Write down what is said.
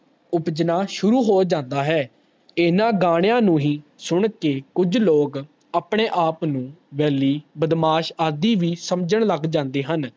ਉਪਜਣਾ ਸ਼ੁਰੂ ਹੋ ਜਾਂਦਾ ਹੈ ਇਨਾ ਗਾਣਿਆਂ ਨੂੰ ਹੀ ਸੁਣਕੇ ਕੁਜ ਲੋਗ ਆਪਣੇ ਆਪ ਨੂੰ ਵੇਹਲੀ ਬਦਮਾਸ਼ ਆਦਿ ਵੀ ਸਮਝਣ ਲਗ ਜਾਂਦੇ ਹਨ